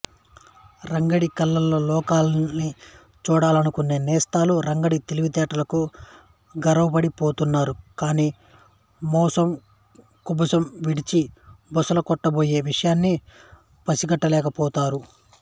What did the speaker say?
రంగడి కళ్లతో లోకాన్ని చూడాలనుకునే నేస్తాలు రంగడి తెలివితేటలకు గర్వపడిపోతున్నారు కానీ మోసం కుబుసం విడిచి బుసలుకొట్టబోయే విషయాన్ని పసిగట్టలేకపోతారు